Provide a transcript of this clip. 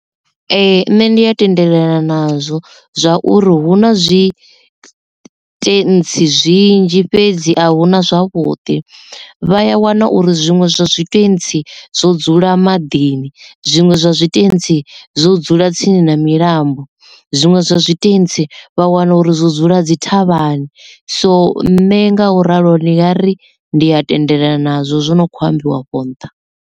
Ee nṋe ndi a tendelana nazwo zwauri hu na zwi tshitentsi zwinzhi fhedzi a hu na zwavhuḓi vhaya wana uri zwiṅwe zwi tshitentsi zwo dzula maḓini, zwiṅwe zwa tshitentsi zwo dzula tsini na milambo, zwiṅwe zwa tshitentsi vha wana uri zwo dzula dzi thavhani so nṋe nga u ralo ni nga ri ndi a tendelana nazwo zwo no kho ambiwa afho nṱha.